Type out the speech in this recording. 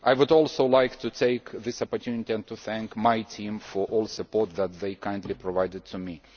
I would also like to take this opportunity to thank my team for all the support that they kindly provided to me.